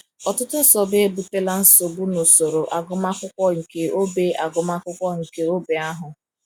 Ọtụtụ nsogbu ebutela nsogbu n’usoro agụmakwụkwọ nke ógbè agụmakwụkwọ nke ógbè ahụ.